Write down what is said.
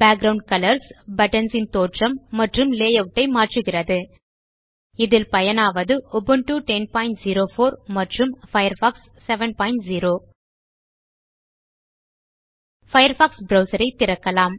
background colours buttons ன் தோற்றம் மற்றும் லேயூட் ஐ மாற்றுகிறது இதில் பயனாவது உபுண்டு 1004 மற்றும் பயர்ஃபாக்ஸ் 70 பயர்ஃபாக்ஸ் ப்ரவ்சர் ஐ திறக்கலாம்